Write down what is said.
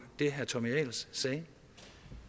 det herre tommy ahlers sagde